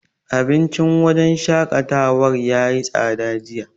Abincin wajen shaƙatawar yayi tsada jiya.